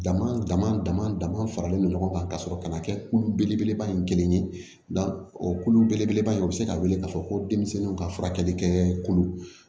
Dama dama dama dama faralen no ɲɔgɔn kan ka sɔrɔ kana kɛ kulu belebeleba ye kelen ye o kulu belebeleba in o bɛ se ka wele k'a fɔ ko denmisɛnninw ka furakɛli kɛ kolo